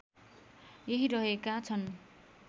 यहीँ रहेका छन्